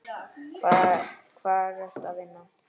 Hvar ertu að vinna?